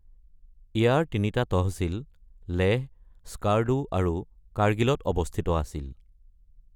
ইয়াৰ তিনিটা তহচিল লেহ, স্কাৰ্ডু আৰু কাৰ্গিলত অৱস্থিত আছিল।